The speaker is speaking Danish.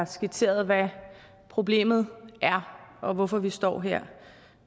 skitsere hvad problemet er og hvorfor vi står her